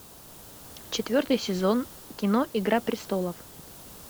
четвертый сезон кино игра престолов